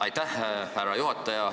Aitäh, härra juhataja!